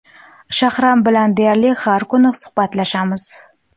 Shahram bilan deyarli har kuni suhbatlashamiz.